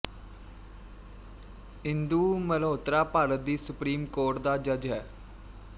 ਇੰਦੂ ਮਲਹੋਤਰਾ ਭਾਰਤ ਦੀ supreme court ਦਾ ਜੱਜ ਹੈ